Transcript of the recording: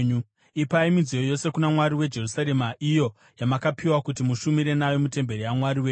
Ipai midziyo yose kuna Mwari weJerusarema iyo yamakapiwa kuti mushumire nayo mutemberi yaMwari wenyu.